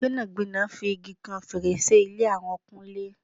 Gbẹ́nàgbẹ́nà fi igi kan fèrèsé ilé àwọn kúnlé